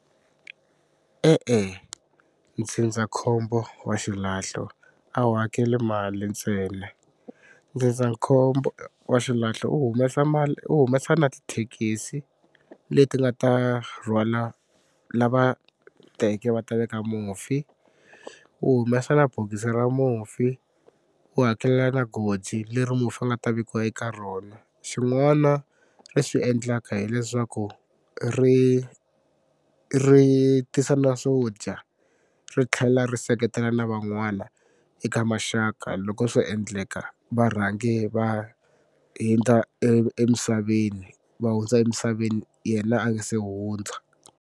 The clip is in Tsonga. E-e ndzindzakhombo wa xilahlo a wu hakeli mali ntsena. Ndzindzakhombo wa xilahlo wu humesa mali wu humesa na tithekisi leti nga ta rhwala lava teke va ta veka mufi, wu humesa na bokisi ra mufi, wu hakelela na goji leri mufi a nga ta vekiwa eka rona. Xin'wana ri swi endlaka hileswaku ri ri tisa na swo dya ri tlhela ri seketela na van'wana eka maxaka loko swo endleka va rhangi va hundza emisaveni va hundza emisaveni yena a nga se hundza.